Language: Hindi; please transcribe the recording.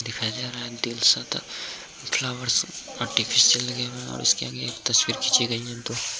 दिखाय दे रहा है दिल सा फ्लावर अर्तिफिस्यल लगे हुए है और इसके आगे एक तस्वीर खिची गयी है दो --